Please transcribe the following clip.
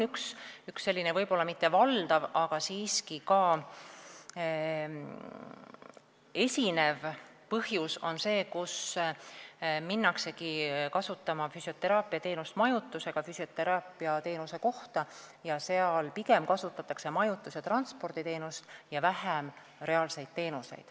Üks, võib-olla mitte valdav, aga siiski ka esinev põhjus on see, et füsioteraapiateenust kasutatakse kohas, kus pakutakse ka majutust, ning seal kasutatakse pigem majutus- ja transporditeenust ning vähem reaalseid füsioteraapiateenuseid.